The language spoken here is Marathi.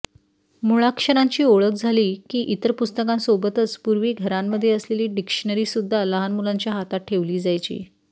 मुळाक्षरांची ओळख झाली की इतर पुस्तकांसोबतच पूर्वी घरामध्ये असलेली डिक्शनरीसुद्धा लहान मुलांच्या हातात ठेवली जायची